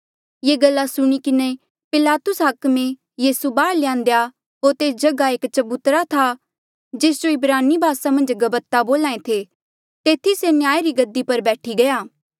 ये गल्ला सुणी किन्हें पिलातुस हाकमे यीसू बाहर ल्यान्देया होर तेस जगहा एक चबूतरा था जेस जो इब्रानी भासा मन्झ गब्ब्ता बोल्हा ऐें थे तेथी से न्याय री गद्दी पर बैठी गया